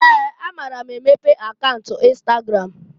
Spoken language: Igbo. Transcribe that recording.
Ee! Amara m emepe account Instagram.